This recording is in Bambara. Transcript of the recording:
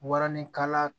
Waranikala